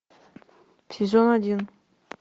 сезон один